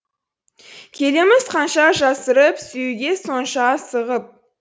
келеміз қанша жасырып сүюге сонша асығып